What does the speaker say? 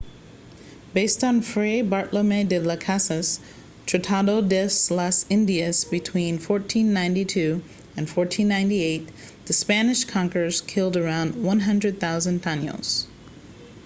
based on fray bartolomé de las casas tratado de las indias between 1492 and 1498 the spanish conquerors killed around 100,000 taínos